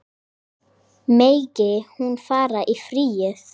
Megi hún fara í friði.